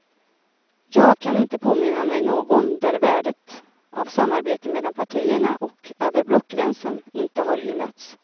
Jag kan inte påminna mig någon där värdet av samarbete mellan partierna och över blockgränsen inte har hyllats.